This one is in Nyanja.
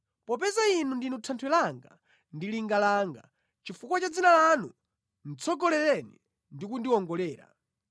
Popeza Inu ndinu thanthwe langa ndi linga langa, chifukwa cha dzina lanu tsogolereni ndi kundiwongolera.